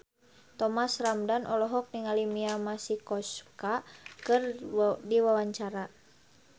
Thomas Ramdhan olohok ningali Mia Masikowska keur diwawancara